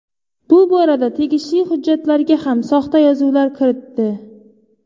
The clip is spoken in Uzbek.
Bu borada tegishli hujjatlarga ham soxta yozuvlar kiritdi.